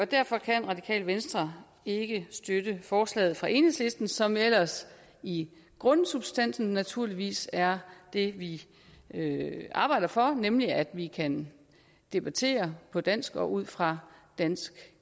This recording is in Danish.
derfor kan radikale venstre ikke støtte forslaget fra enhedslisten som ellers i grundsubstansen naturligvis er det vi arbejder for nemlig at vi kan debattere på dansk og ud fra danske